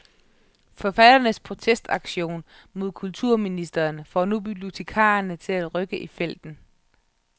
Forfatternes protestaktion mod kulturministeren får nu bibliotekarerne til at rykke i felten.